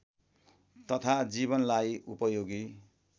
तथा जीवनलाई उपयोगी